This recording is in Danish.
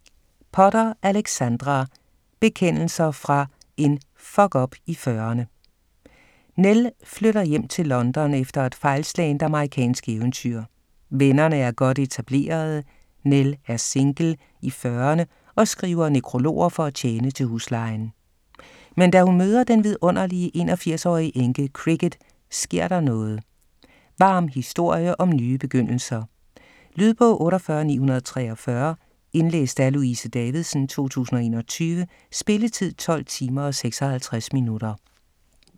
Potter, Alexandra: Bekendelser fra en f#ck-up i fyrrerne Nell flytter hjem til London efter et fejlslagent amerikansk eventyr. Vennerne er godt etablerede, Nell er single, i fyrrerne og skriver nekrologer for at tjene til huslejen. Men da hun møder den vidunderlige 81-årige enke, Cricket, sker der noget. Varm historie om nye begyndelser,. Lydbog 48943 Indlæst af Louise Davidsen, 2021. Spilletid: 12 timer, 56 minutter.